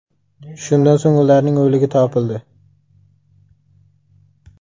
Shundan so‘ng ularning o‘ligi topildi.